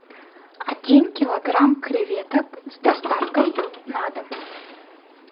один килограмм креветок с доставкой на дом